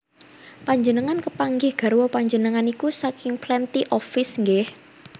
Panjenengan kepanggih garwa panjenengan niku saking Plenty of Fish nggeh